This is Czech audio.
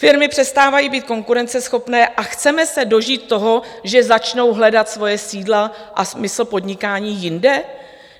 Firmy přestávají být konkurenceschopné a chceme se dožít toho, že začnou hledat svoje sídla a smysl podnikání jinde?